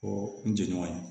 Ko n jɛɲɔgɔn ye